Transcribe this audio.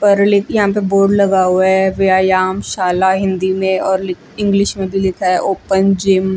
पर्लि यहां के बोर्ड लगा हुआ है व्यायाम शाला हिंदी मे और लिख इंग्लिश मे भी लिखा है ओपन जिम --